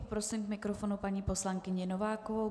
Poprosím k mikrofonu paní poslankyni Novákovou.